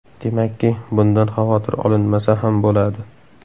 Demakki, bundan xavotir olinmasa ham bo‘ladi.